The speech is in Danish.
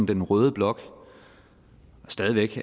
den røde blok stadig væk